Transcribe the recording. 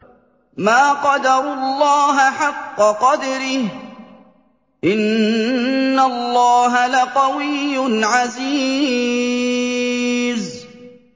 مَا قَدَرُوا اللَّهَ حَقَّ قَدْرِهِ ۗ إِنَّ اللَّهَ لَقَوِيٌّ عَزِيزٌ